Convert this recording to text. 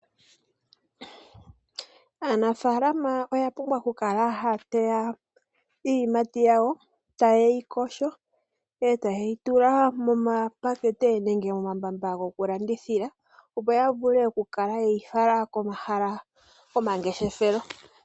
Aanafaalama oya pumbwa oku kala ha ya teya iiyimati yawo, ta ye yi yogo, eta ye yi tula momapakete, nenge momambamba go ku landithila opo ya vule oku kala ye yi fala komahala gomangeshelefelo.